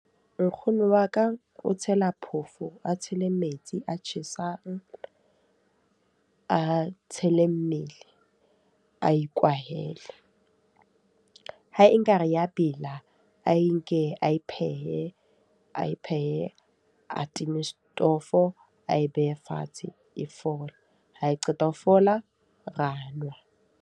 Nkgono wa ka o tshela phoofolo, a tshele metsi a tjhesang. A tshele mmele ae kwahele. Ha e ka re ya bela, ae nke ae phehe, ae phehe. A time setofo, ae behe fatshe e fole. Ha e qeta ho fola, ra nwa.